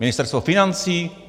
Ministerstvo financí?